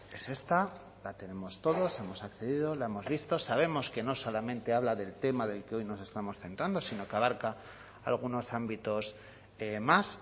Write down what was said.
es esta la tenemos todos hemos accedido la hemos visto sabemos que no solamente habla del tema del que hoy nos estamos centrando sino que abarca algunos ámbitos más